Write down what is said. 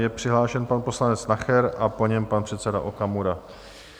Je přihlášen pan poslanec Nacher a po něm pan předseda Okamura.